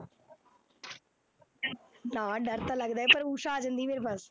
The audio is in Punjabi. ਹਾਂ ਡਰ ਤਾਂ ਲੱਗਦਾ ਪਰ ਊਸਾ ਆ ਜਾਂਦੀ ਮੇਰੇ ਪਾਸ